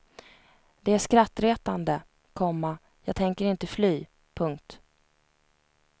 Det är skrattretande, komma jag tänker inte fly. punkt